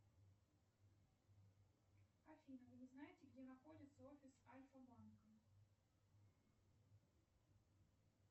афина вы не знаете где находится офис альфа банка